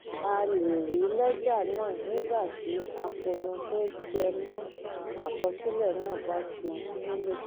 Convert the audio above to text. a lè rí lẹ́jà náà nígbà tí àkóónú tó jẹ mọ́ àkọsílẹ̀ náà bá ti nílò